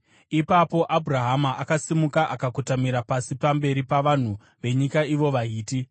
Ipapo Abhurahama akasimuka akakotamira pasi pamberi pavanhu venyika, ivo vaHiti.